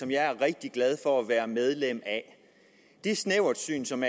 jeg er rigtig glad for at være medlem af det snæversyn som